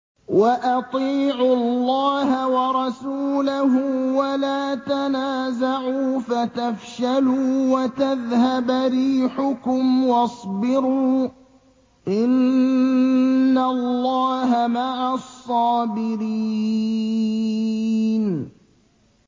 وَأَطِيعُوا اللَّهَ وَرَسُولَهُ وَلَا تَنَازَعُوا فَتَفْشَلُوا وَتَذْهَبَ رِيحُكُمْ ۖ وَاصْبِرُوا ۚ إِنَّ اللَّهَ مَعَ الصَّابِرِينَ